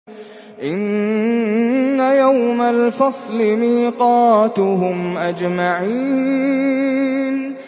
إِنَّ يَوْمَ الْفَصْلِ مِيقَاتُهُمْ أَجْمَعِينَ